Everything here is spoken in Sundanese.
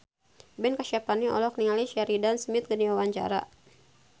Ben Kasyafani olohok ningali Sheridan Smith keur diwawancara